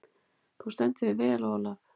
Þú stendur þig vel, Olav!